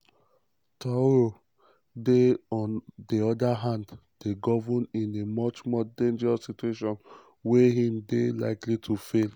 traoré on di oda hand dey govern in a much more dangerous situation wia im dey likely to fall.